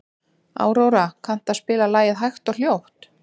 Aurora, kanntu að spila lagið „Hægt og hljótt“?